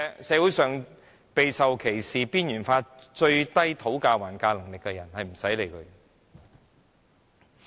社會上備受歧視、被邊緣化，討價還價能力最低的人，根本不用理會。